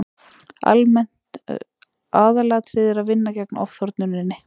Almennt var búist við þessari niðurstöðu